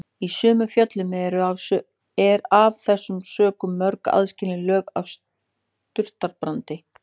Í sumum fjöllum eru af þessum sökum mörg aðskilin lög af surtarbrandi.